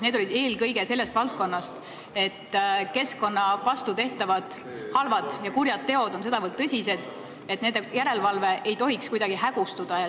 Need olid eelkõige sellest valdkonnast, et keskkonna vastu tehtavad halvad ja kurjad teod on sedavõrd tõsised, et nende järelevalve ei tohiks kuidagi hägustuda.